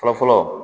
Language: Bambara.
Fɔlɔ fɔlɔ